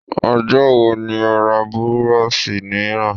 Ọjọ́ wo ni ó ra burọ̀ṣì mìíràn?